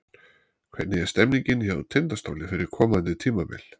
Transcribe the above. Hvernig er stemningin hjá Tindastóli fyrir komandi tímabil?